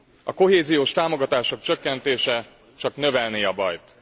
A kohéziós támogatások csökkentése csak növelné a bajt.